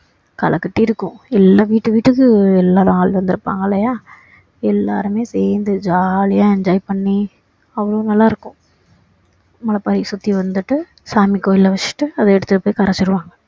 கலைக்கட்டி இருக்கும் எல்லாம் வீட்டுகு வீட்டுக்கு எல்லாரும் ஆளு வந்திருப்பாங்க இல்லையா எல்லாருமே சேர்ந்து jolly யா enjoy பண்ணி அவ்வளோ நல்லா இருக்கும் முளைப்பாறிய சுத்தி வந்துட்டு சாமி கோவில்ல வச்சிட்டு அதை எடுத்து அப்படியே கரைச்சிடுவாங்க